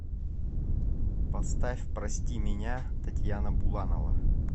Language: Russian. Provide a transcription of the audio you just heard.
поставь прости меня татьяна буланова